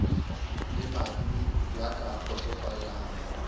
le madi ya ka kgotsofallang